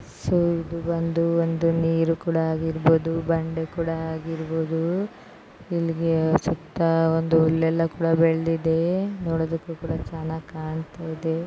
So ಇದು ಬಂದು ಒಂದು ಮೇಲ್ ಕೂಡ ಆಗಿರಬಹುದು ಗಂಡು ಕೂಡ ಆಗಿರಬಹುದು. ಇಲ್ಲಿಗೆ ಸುತ್ತ ಒಂದು ಹುಲ್ಲೆಲ್ಲ ಕೂಡ ಬೆಳೆದಿದೆ ನೋಡುದಕ್ಕೂ ಕೂಡ ಚೆನ್ನಾಗ್ ಕಾಣ್ತಾಯಿದೆ.